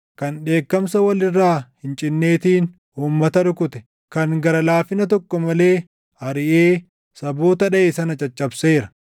kan dheekkamsa wal irraa hin cinneetiin uummata rukute; kan gara laafina tokko malee ariʼee saboota dhaʼe sana caccabseera.